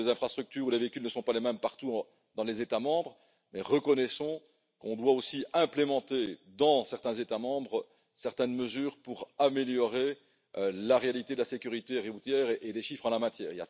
Bien sûr, les infrastructures et les véhicules ne sont pas les mêmes partout dans les États membres, mais reconnaissons qu'on doit aussi mettre en œuvre, dans certains États membres, certaines mesures pour améliorer la réalité de la sécurité routière et des chiffres en la matière.